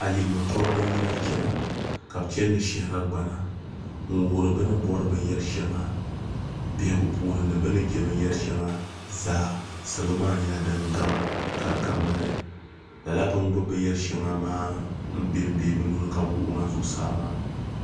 ayirimo toribi n yina chɛna ka bi chɛni ni shahara gbana n wuhuri bi ni bori binyɛri shɛŋa biɛhagu puuni ni bi ni jɛ binyɛri shɛŋa zaa salo maa nyɛla din gam ka di ka ŋmali lala bi ni gbubi binyɛri shɛŋa maa n bɛ ni nuhuni ka bi wuɣi ŋa zuɣusaa maa